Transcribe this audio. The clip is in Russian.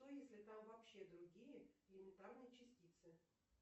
что если там вообще другие элементарные частицы